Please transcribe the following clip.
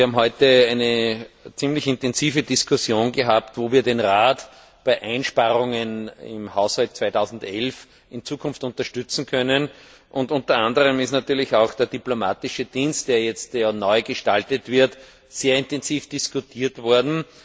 Wir haben heute eine ziemlich intensive Diskussion darüber gehabt, wie wir den Rat bei Einsparungen im Haushalt 2011 unterstützen können, und unter anderem ist natürlich auch der diplomatische Dienst, der jetzt neugestaltet wird, sehr intensiv diskutiert worden.